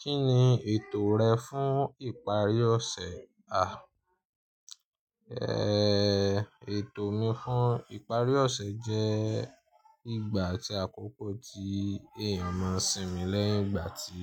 Kí ni ètò rẹ fún ìparí ọ̀sẹ̀? À, ètò mi fún ìparí ọ̀sẹ̀ jẹ́ ìgbà atí àkókò tí èèyàn máá ń sinmi lẹ́yìn ìgbà tí